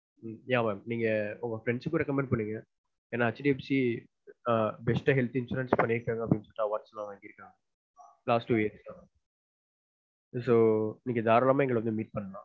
Nithya mam உங்க friends க்கும் recommend பண்ணுங்க ஏன்னா hdfc best of health insurance பண்ணிருக்காங்கனு award கூட வாங்கி இருக்காங்க last two yearsso தாராளமா நீங்க எங்கள வந்து meet பண்ணலான்